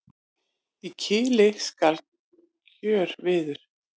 Í kili skal kjörviður.